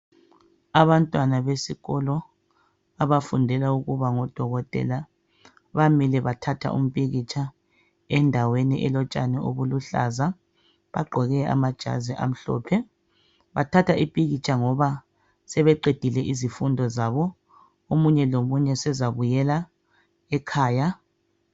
Abantwana besikolo abafundela ukuba ngodokotela, bamilre bathatha umpikitsha endaweni elotshani obuluhlaza, bagqoke amajazi amhlophe. Bathatha umpikitsha ngoba sebeqedile izifundo zabo omunye lomunye sezabuyela ekhaya.